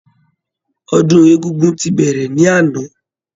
Ọdún egúngún ti bẹrẹ ní àná